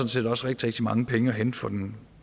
set også rigtig rigtig mange penge at hente for den